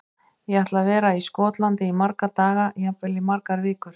Ég ætla að vera í Skotlandi í marga daga, jafnvel í margar vikur.